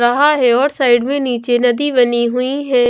रहा है और साइड में नीचे नदी बनी हुई है।